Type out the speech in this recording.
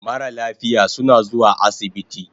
Mara lafiya suna zuwa asibiti